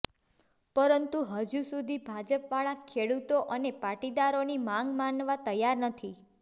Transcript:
પરંતુ હજુ સુધી ભાજપવાળા ખેડૂતો અને પાટીદારોની માગ માનવા તૈયાર નથી